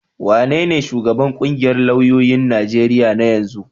Wanene shugaban ƙungiyar lauyoyin Najeriya na yanzu?